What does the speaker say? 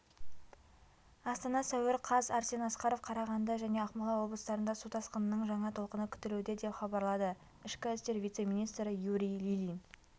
астана сәуір қаз арсен асқаров қарағанды және ақмола облыстарында су тасқынының жаңа толқыны күтілуде деп хабарлады ішкі істер вице-министрі юрий ильин